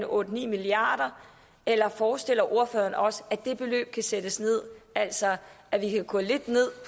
otte ni milliard kr eller forestiller ordføreren sig også at det beløb kan sættes ned altså at vi kan gå lidt ned